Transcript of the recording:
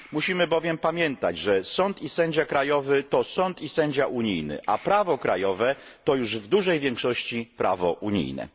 Musimy bowiem pamiętać, że sąd i sędzia krajowy to sąd i sędzia unijny, a prawo krajowe to już w dużej większości prawo unijne.